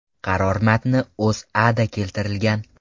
Qaror matni O‘zAda keltirilgan.